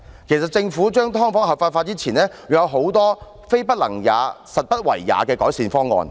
其實政府將"劏房"合法化前，仍有很多"非不能也，實不為也"的改善方案。